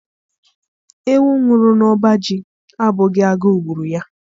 Ewu nwụrụ n'ọba ji abụghị agụụ gburu ya